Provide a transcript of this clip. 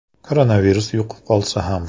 Koronavirus yuqib qolsa ham.